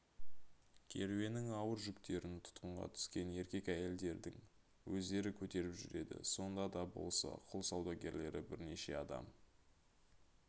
керуеннің ауыр жүктерін тұтқынға түскен еркек-әйелдердің өздері көтеріп жүреді сонда да болса құл саудагерлері бірнеше адам